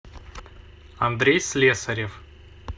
андрей слесарев